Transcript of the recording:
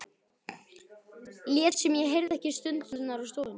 Lét sem ég heyrði ekki stunurnar úr stofunni.